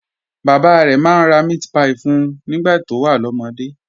Bàbá rẹ̀ máa ń ra meatpie fún un nígbà tó wà lọ́mọdé